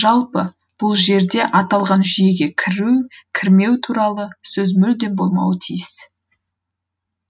жалпы бұл жерде аталған жүйеге кіру кірмеу туралы сөз мүлдем болмауы тиіс